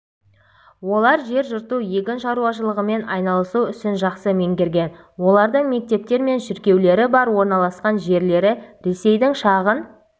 олар жер жырту егін шаруашылығымен айналысу ісін жақсы меңгерген олардың мектептер мен шіркеулері бар орналасқан жерлері ресейдің шағын